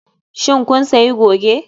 Shin kun sayi goge?